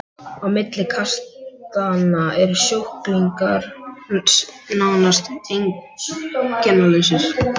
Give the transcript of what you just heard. Á milli kastanna eru sjúklingar nánast einkennalausir.